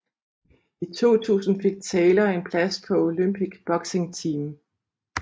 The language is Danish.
I 2000 fik Taylor en plads på Olympic Boxing Team